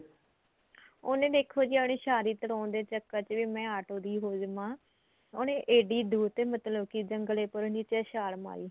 ਉਹਨੇ ਦੇਖੋ ਜੀ ਆਪਣੀ ਸ਼ਾਦੀ ਤੁੜਵਾਉਣ ਦੇ ਚੱਕਰ ਚ ਮੈਂ ਆਟੋ ਦੀ ਹੋ ਜਾਵਾ ਉਹਨੇ ਇਡੀ ਦੁਰ ਤੇ ਮਤਲਬ ਕੀ ਜੰਗਲੇ ਕੋਲ ਜਿੱਥੇ ਛਾਲ ਮਾਰੀ